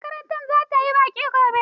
Makaranta za ta yi baƙi gobe.